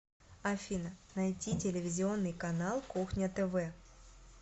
афина найти телевизионный канал кухня тв